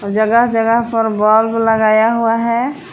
जगह जगह पर बल्ब लगाया हुआ है।